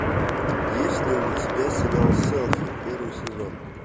есть ли у тебя сериал селфи первый сезон